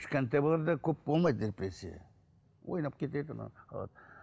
кішкентай балаларда көп болмайды депрессия ойнап кетеді